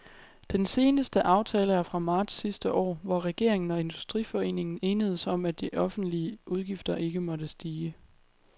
Den seneste aftale er fra marts sidste år, hvor regeringen og industriforeningen enedes om, at de offentlige udgifter ikke måtte stige.